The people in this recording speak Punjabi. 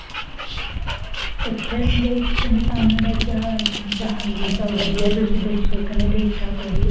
ਪੁੱਛਣ ਡੇਈ ਸੀ ਕਹਿੰਦੇ ਕਾਮੇ ਦਾ ਕਿ ਹਾਲ ਹੈ? ਮੈਂ ਕਿਹਾ ਹਾਂਜੀ ਸਭ ਵਧੀਆ ਤੁਸੀਂ ਦੱਸੋ? ਕਹਿੰਦੀ ਠੀਕ ਠਾਕ ਵਧੀਆ